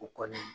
U kɔni